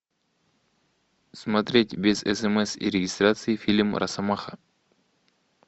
смотреть без смс и регистрации фильм росомаха